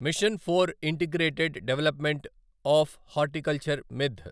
machine for integrated development of horticulture MIDH